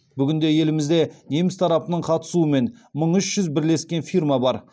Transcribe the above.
бүгінде елімізде неміс тарапының қатысуымен мың үш жүз бірлескен фирма бар